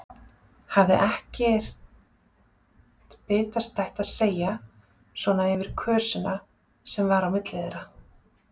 Hafði ekkert bitastætt að segja svona yfir kösina sem var á milli þeirra.